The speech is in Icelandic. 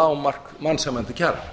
lágmark mannsæmandi kjara